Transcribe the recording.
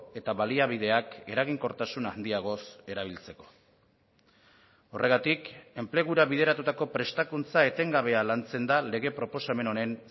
eta baliabideak eraginkortasun handiagoz erabiltzeko horregatik enplegura bideratutako prestakuntza etengabea lantzen da lege proposamen honen